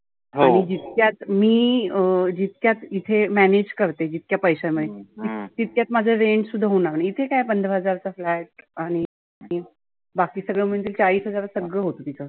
आणि जितक्यात मी अं जितक्यात इथे manage करते जितक्या पैशा मध्ये तितक्यात माझ rent सुद्धा होणार नाही. इथे काय पंधरा हजारचा flat आणि बाकी सगळ म्हणजे चाळीस हजारात सगळ होतं तीच.